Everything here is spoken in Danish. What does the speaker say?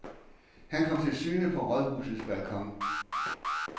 Han kom til syne på rådhusets balkon.